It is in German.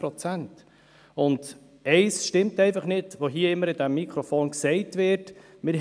An diesem Mikrofon wird immer wieder etwas gesagt, das nicht stimmt.